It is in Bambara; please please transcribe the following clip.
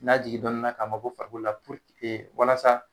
N'a jigin dɔnnin na k'a bɔ ko farikolo la walasa